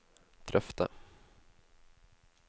drøfte